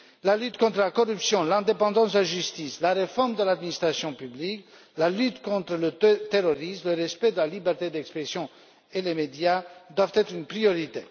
La lutte contre la corruption, l'indépendance de la justice, la réforme de l'administration publique, la lutte contre le terrorisme, le respect de la liberté d'expression et les médias doivent être une priorité.